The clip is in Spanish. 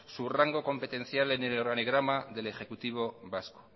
su rango competencial en el organigrama del ejecutivo vasco